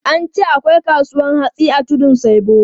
An ce akwai kasuwan hatsi a Tudun Saibu.